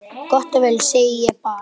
Gott og vel, segi ég bara.